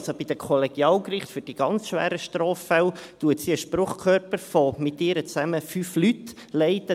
Sie leitet also bei Kollegialgerichten für die ganz schweren Straffälle einen Spruchkörper von 5 Leuten, sie miteingerechnet.